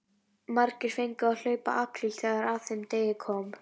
Margir fengu að hlaupa apríl þegar að þeim degi kom.